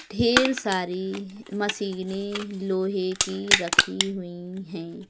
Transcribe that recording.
ढेर सारी मशीने लोहे की रखी हुई हैं।